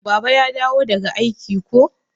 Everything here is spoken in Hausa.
Baba ya dawo daga aiki ko?